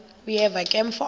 uyeva ke mfo